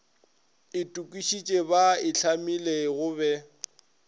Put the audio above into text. itokišitše ba itlhamile go be